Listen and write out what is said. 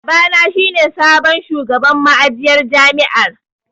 Babana shi ne sabon shugaban ma'ajiyar jami'ar.